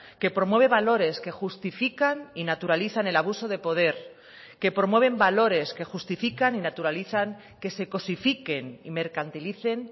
que promueve valores que justifican y naturalizan el abuso de poder que promueven valores que justifican y naturalizan que se cosifiquen y mercantilicen